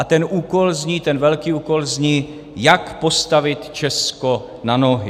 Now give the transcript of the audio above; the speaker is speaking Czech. A ten úkol zní, ten velký úkol zní, jak postavit Česko na nohy.